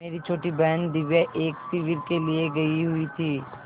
मेरी छोटी बहन दिव्या एक शिविर के लिए गयी हुई थी